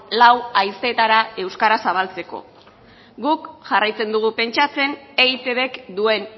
lau haizeetara euskara zabaltzeko guk jarraitzen dugu pentsatzen eitbk duen